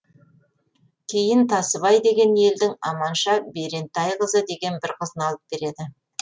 кейін тасыбай деген елдің аманша берентайқызы деген бір қызын алып береді